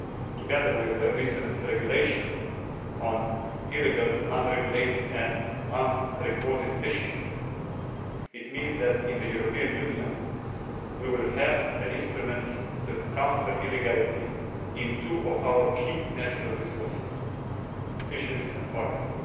Together with the recent Regulation on illegal, unregulated and unrecorded fishing, this means that in the European Union, we will have the instruments to counter illegality in two of our key natural resources fisheries and forests.